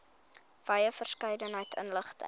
wye verskeidenheid inligting